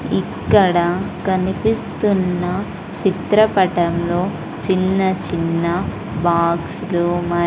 ఇక్కడ కనిపిస్తున్న చిత్రపటంలో చిన్న చిన్న బాక్స్ లు మర్ --